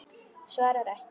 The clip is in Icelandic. Svarar ekki.